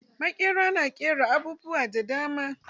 Maƙera na ƙera abubuwa da dama.